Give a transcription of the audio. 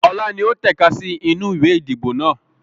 Ọlá ni ó tẹ̀ka sì inú ìwé ìdìbò náà